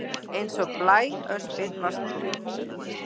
Eins og blæöspin varst þú